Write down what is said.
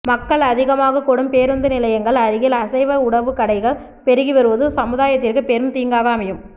மக்கள் அதிகமாக கூடும் பேருந்து நிலையங்கள் அருகில் அசைவ உணவுக் கடைகள் பெருகி வருவது சமுதாயத்திற்கு பெரும் தீங்காக அமையும்